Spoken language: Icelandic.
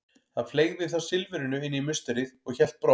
Hann fleygði þá silfrinu inn í musterið og hélt brott.